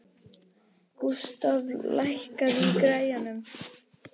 Gústaf, lækkaðu í græjunum.